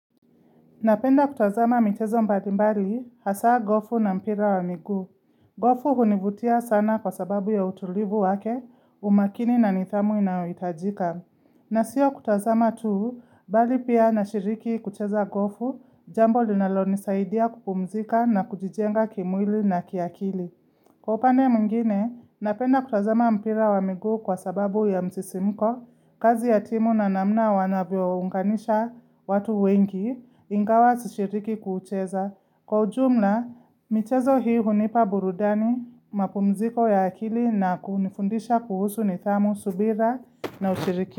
Napenda kutazama michezo mbalimbali hasaa gofu na mpira wa migu. Gofu hunivutia sana kwa sababu ya utulivu wake umakini na nidhamu inayohitajika. Na siyo kutazama tu, mbali pia nashiriki kucheza gofu jambo linalonisaidia kupumzika na kujijenga kimwili na kiakili. Kwa upande mwingine, napenda kutazama mpira wa migu kwa sababu ya msisimko, kazi ya timu na namna wanavyounganisha watu wengi, ingawa sishiriki kuucheza. Kwa ujumla, michezo hii hunipa burudani, mapumziko ya akili na kunifundisha kuhusu nidhamu subira na ushirikiano.